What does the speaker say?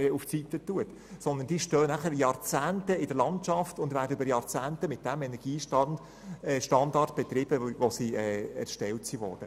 Die Überbauungen stehen dann Jahrzehnte in der Landschaft und werden über Jahrzehnte mit demjenigen Energiestandard betrieben, mit dem sie erstellt worden sind.